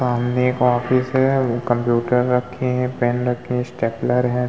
सामने एक ऑफिस है कंप्यूटर रखें है पेन रखे है स्टैपलर है।